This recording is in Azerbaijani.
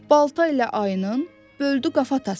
Balta ilə ayının böldü qafatasını.